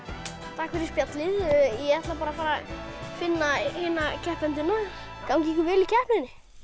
takk fyrir spjallið ég ætla bara að fara að finna hina keppendurna gangi ykkur vel í keppninni